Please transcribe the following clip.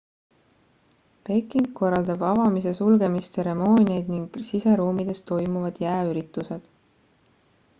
peking korraldab avamis ja sulgemistseremooniad ning siseruumides toimuvad jääüritused